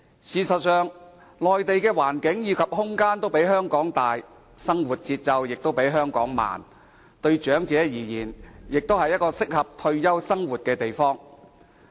事實上，內地的環境及空間均比香港大，生活節奏亦比香港慢，對長者而言，是適合退休生活的地方。